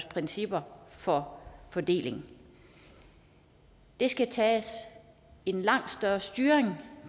principper for fordeling der skal tages en langt større styring